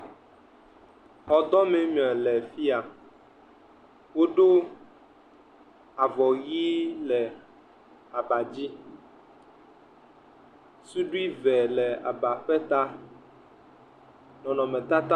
Xɔdɔmee mele fi ya. Woɖo avɔʋi le aba dzi. Suiɖui eve le aba ƒe ta. Nɔnɔmetata.